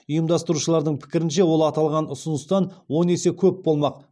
ұйымдастырушылардың пікірінше ол аталған ұсыныстан он есе көп болмақ